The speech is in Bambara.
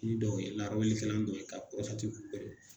Ni dɔw dɔ ye ka